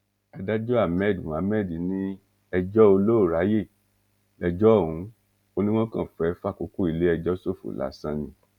adájọ́ ahmed mohammed ní ẹjọ́ olóòráyè lẹjọ́ ọ̀hún ó ní wọ́n kàn fẹ́ fàkókò iléẹjọ́ ṣòfò lásán ni